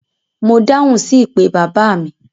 Mo dáhùn sí ìpè bàbá mi.